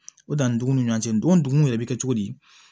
O danni dugun ni ɲɔgɔn cɛ don dugun yɛrɛ bɛ kɛ cogo di